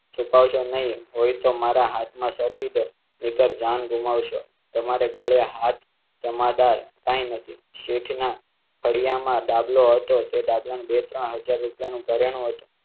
છુપાવ શો નહીં હોય તો મારા હાથ માં સોંપી દે નીકર જાન ગુમાવ શો. તમારે ગળે હાથ જમાદાર કઈ નથી? તે ડાબલાનું બે ત્રણ હજાર રૂપિયાનો કર્યો હતો